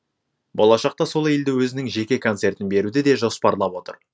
болашақта сол елде өзінің жеке концертін беруді де жоспарлап отыр